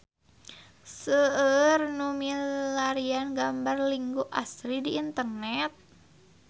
Seueur nu milarian gambar Linggo Asri di internet